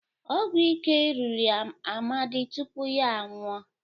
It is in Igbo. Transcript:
ọgwụ ike riri Amadi tupu ya anwụọ